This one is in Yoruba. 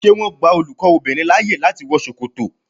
Ṣé wọn gba olùkọ́ obìnrin láyè láti wọ Ṣòkòtò?